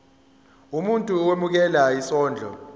umuntu owemukela isondlo